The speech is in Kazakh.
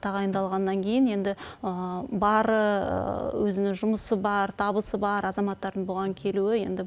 тағайындалғаннан кейін енді бары өзінің жұмысы бар табысы бар азаматтардың бұған келуі енді